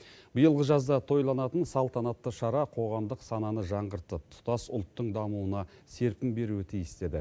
биылғы жазда тойланатын салтанатты шара қоғамдық сананы жаңғыртып тұтас ұлттың дамуына серпін беруі тиіс деді